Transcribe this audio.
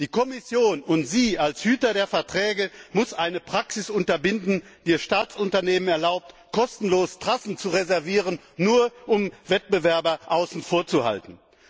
Die Kommission und Sie, als Hüter der Verträge, müssen eine Praxis unterbinden, die es Staatsunternehmen erlaubt, kostenlos Trassen zu reservieren, nur um Wettbewerber außen vor zu halten.